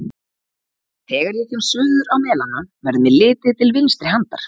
Þegar ég kem suður á Melana, verður mér litið til vinstri handar.